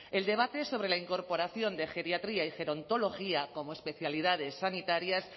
el debate sobre la incorporación de geriatría y gerontología como especialidades sanitarias